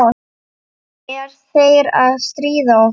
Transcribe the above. Er þeir að stríða honum?